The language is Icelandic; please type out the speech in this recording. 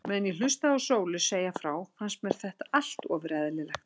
Meðan ég hlustaði á Sólu segja frá fannst mér þetta allt ofur eðlilegt.